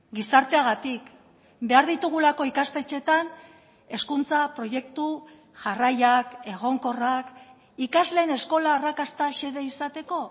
gizarteagatik behar ditugulako ikastetxeetan hezkuntza proiektu jarraiak egonkorrak ikasleen eskola arrakasta xede izateko